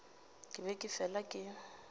ke be ke fela ke